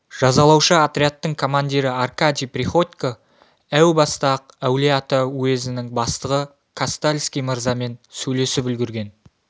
жазалаушы отрядтың командирі аркадий приходько әу баста-ақ әулие-ата уезінің бастығы кастальский мырзамен сөйлесіп үлгірген